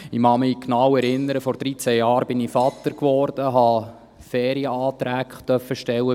Ich durfte bei meinem Arbeitgeber Ferienanträge stellen;